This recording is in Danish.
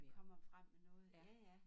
Kommer frem med noget ja ja